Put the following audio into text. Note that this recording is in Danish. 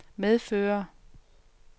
medfører